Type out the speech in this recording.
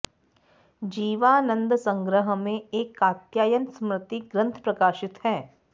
जीवानन्द संग्रह में एक कात्यायन स्मृति ग्रन्थ प्रकाशित है